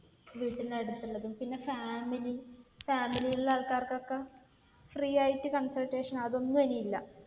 വീട്ടിന്റെ അടുത്തൊള്ളതും. പിന്നെ family. family ൽ ഉള്ള ആൾക്കാർക്കൊക്കെ free ആയിട്ട് consultation. അതൊന്നും ഇനി ഇല്ല.